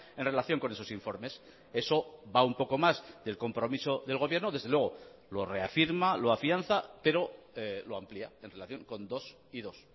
en relación con esos informes eso va un poco más del compromiso del gobierno desde luego lo reafirma lo afianza pero lo amplía en relación con dos y dos